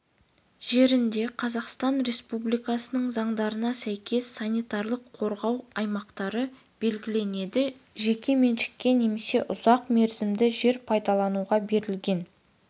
жерінде қазақстан республикасының заңдарына сәйкес санитарлық-қорғау аймақтары белгіленеді жеке меншікке немесе ұзақ мерзімді жер пайдалануға берілген